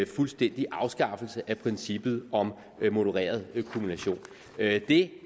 fuldstændig afskaffelse af princippet om modereret kumulation det det